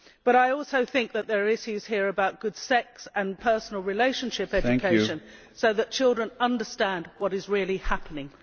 I also think that there are issues here about good sex and personal relationship education, so that children understand what is really happening.